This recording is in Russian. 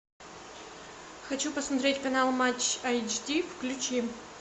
хочу посмотреть канал матч эйч ди включи